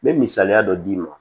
N bɛ misaliya dɔ d'i ma